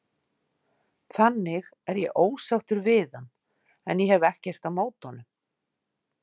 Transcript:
Þannig er ég ósáttur við hann en ég hef ekkert á móti honum.